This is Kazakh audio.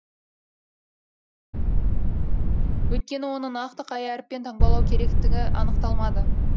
өйткені оны нақты қай әріппен таңбалау керектігі анықталмады